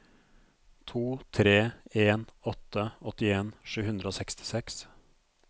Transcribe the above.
to tre en åtte åttien sju hundre og sekstiseks